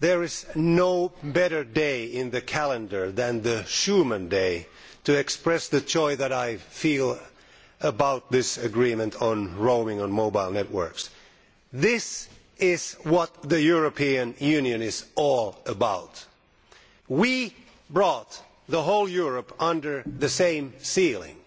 There is no better day in the calendar than Schuman Day to express the joy that I feel about this agreement on roaming on mobile networks. This is what the European Union is all about. We brought the whole of Europe under the same ceiling